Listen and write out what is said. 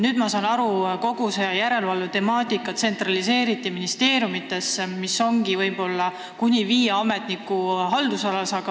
Nüüd ma saan aru, et kogu see järelevalve temaatika tsentraliseeriti ministeeriumidesse, nii et see ongi kuni viie ametniku haldusalas.